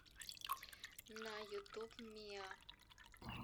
на ютуб миа